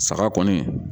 Saga kɔni